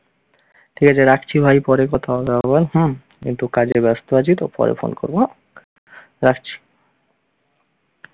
ঠিক আছে রাখছি ভাই, পরে কথা হবে আবার হুম। একটু কাজে ব্যস্ত আছি তো পরে phone করবো হম রাখছি।